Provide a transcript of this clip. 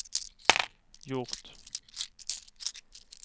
gjort